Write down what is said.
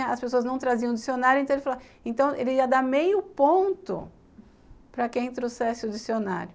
As pessoas não traziam o dicionário, então ele ia dar meio ponto para quem trouxesse o dicionário.